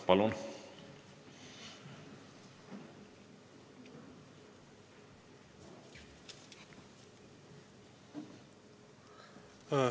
Palun!